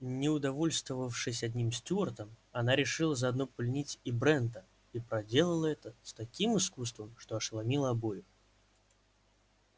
не удовольствовавшись одним стюартом она решила заодно пленить и брента и проделала это с таким искусством что ошеломила обоих